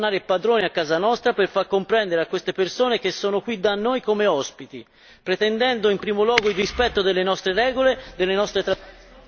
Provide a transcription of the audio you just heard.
Dobbiamo tornare padroni a casa nostra per far comprendere a queste persone che sono qui da noi come ospiti, pretendendo in primo luogo il rispetto delle nostre regole, delle nostre tradizioni.....